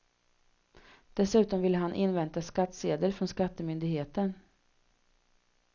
Dessutom ville han invänta skattsedel från skattemyndigheten.